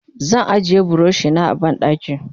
zan ajiye burushi na a banɗaki